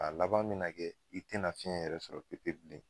A laban me na kɛ i te na fiɲɛ yɛrɛ sɔrɔ pepe bilen.